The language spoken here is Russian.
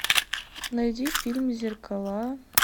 найди фильм зеркала